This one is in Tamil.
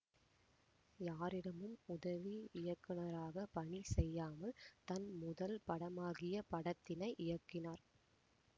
யாரிடமும் உதவி இயக்குநராக பணி செய்யாமல் தன் முதல் படமாகிய படத்தினை இயக்கினார்